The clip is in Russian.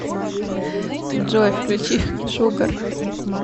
джой включи шугар